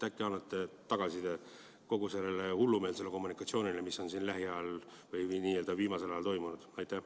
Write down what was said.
Äkki annate tagasisidet kogu selle hullumeelse kommunikatsiooni kohta, mis on viimasel ajal toimunud?